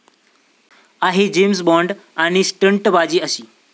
आहे जेम्स बॉन्ड...आणि स्टंटबाजी अशी?